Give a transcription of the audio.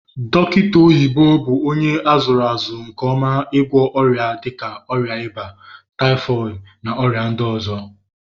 Dokita oyibo bu onye azuru azu nke oma igwo oria dika oria iba, typhooid na oria ndi ozo.